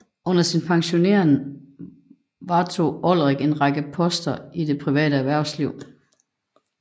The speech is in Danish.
Efter sin pensionering varetog Olrik en række poster i det private erhvervsliv